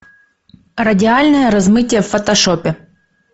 радиальное размытие в фотошопе